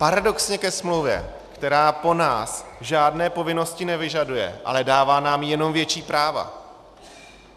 Paradoxně ke smlouvě, která po nás žádné povinnosti nevyžaduje, ale dává nám jenom větší práva.